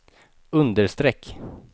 understreck